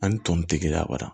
Ani tɔntigiya bada